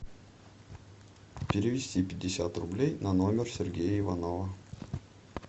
перевести пятьдесят рублей на номер сергея иванова